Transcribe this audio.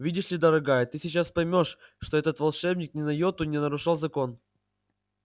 видишь ли дорогая ты сейчас поймёшь что этот волшебник ни на йоту не нарушал закон